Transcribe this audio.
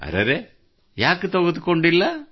ಅರೆ ಏಕೆ ತೆಗೆದುಕೊಂಡಿಲ್ಲ